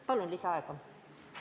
Palun lisaaega!